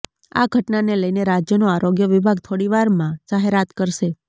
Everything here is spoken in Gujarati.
આ ઘટનાને લઈને રાજ્યનું આરોગ્ય વિભાગ થોડીવારમાં જાહેરાત કરશે